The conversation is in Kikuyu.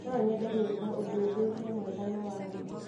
No nyende gwĩka ũthuthuria mwega na wa ma.